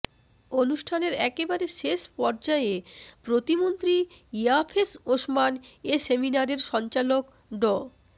অনুষ্ঠানের একেবারে শেষ পর্যায়ে প্রতিমন্ত্রী ইয়াফেস ওসমান এ সেমিনারের সঞ্চালক ড